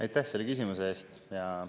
Aitäh selle küsimuse eest!